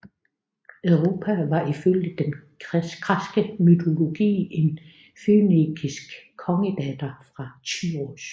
Europa var ifølge den græske mytologi en fønikisk kongedatter fra Tyros